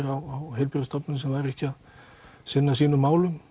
á heilbrigðisstofnunum sem væru ekki að sinna sínum málum